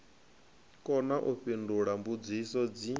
kona u fhindula mbudziso dzi